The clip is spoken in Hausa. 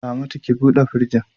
Ramatu, ki bude firjin!